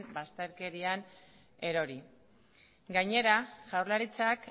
bazterkerian erori gainera jaurlaritzak